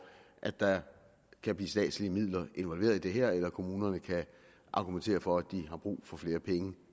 at der kan blive statslige midler involveret i det her eller at kommunerne kan argumentere for at de har brug for flere penge